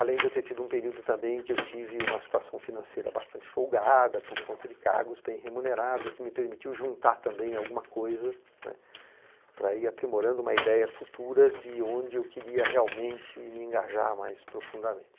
Além de eu ter tido um período também que eu tive uma situação financeira bastante folgada, por conta de cargos bem remunerados, que me permitiu juntar também alguma coisa, né, para ir aprimorando uma ideia futura de onde eu queria realmente me engajar mais profundamente.